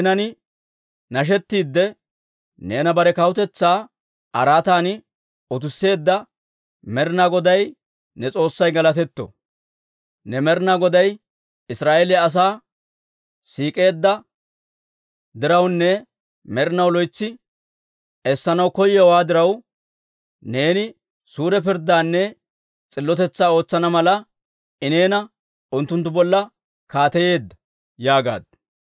Neenan nashettiidde, neena bare kawutetsaa araatan utisseedda Med'inaa Goday ne S'oossay galatetto! Ne Med'inaa Goday Israa'eeliyaa asaa siik'eedda dirawunne med'inaw loytsi essanaw koyowaa diraw, neeni suure pirddaanne s'illotetsaa ootsana mala, I neena unttunttu bolla kaateyeedda» yaagaaddu.